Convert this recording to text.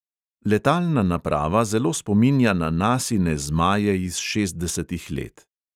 Letalna naprava zelo spominja na nasine zmaje iz šestdesetih let.